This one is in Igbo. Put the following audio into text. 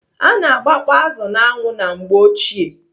Ana agbakpọ azụ n'anwụ na mgbeochie.